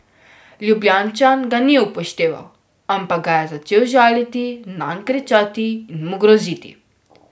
Ljubljančan ga ni upošteval, ampak ga je začel žaliti, nanj kričati in mu groziti.